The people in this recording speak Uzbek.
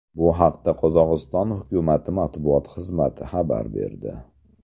Bu haqda Qozog‘iston hukumati matbuot xizmati xabar berdi .